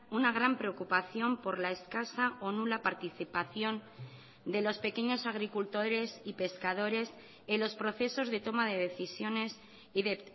una gran preocupación por la escasa o nula participación de los pequeños agricultores y pescadores en los procesos de toma de decisiones y de